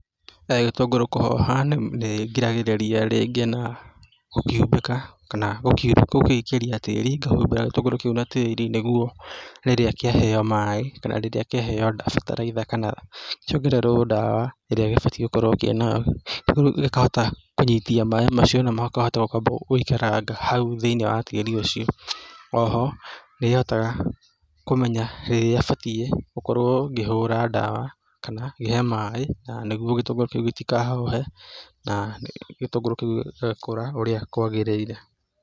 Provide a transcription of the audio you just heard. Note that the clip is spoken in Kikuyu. Gĩtũngũrũ kũhoha nĩ ngiragĩrĩria rĩngĩ na gũkĩhumbĩka, kana gũgĩikĩria tĩri, ngahumbĩra gĩtũngũrũ kĩu na tĩri nĩguo rĩrĩa kĩaheo maĩ kana rĩrĩa kĩaheo bataraitha kana kĩongererwo dawa ĩrĩa gĩbatiĩ gũkorwo kĩna, gĩkahota kũnyitia maĩ macio, na makahota kwamba gĩgaikaranga hau thĩ-inĩ wa tĩri ũcio, o ho nĩhotaga kũmenya rĩrĩa batiĩ gũkorwo ngĩhũra dawa kana ngĩhe maĩ, na nĩguo gĩtũngũrũ kĩu gĩtikahohe na gĩtũngũrũ kĩu gĩgakũra ũrĩa kwagĩrĩire.